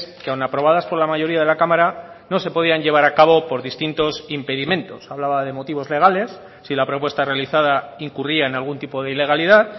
que aun aprobadas por la mayoría de la cámara no se podían llevar a cabo por distintos impedimentos hablaba de motivos legales si la propuesta realizada incurría en algún tipo de ilegalidad